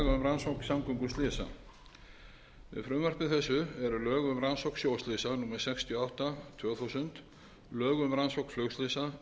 þessu eru lög um rannsókn sjóslysa númer sextíu og átta tvö þúsund lög um rannsókn flugslysa